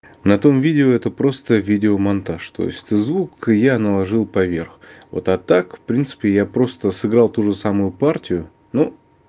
на том видео это просто видеомонтаж то есть ты звук я наложил поверх вот а так в принципе я просто сыграл ту же самую партию но